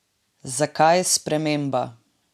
Zakaj sprememba?